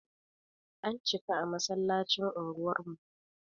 An cika a masallacin unguwar mu.